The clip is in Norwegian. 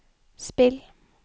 spill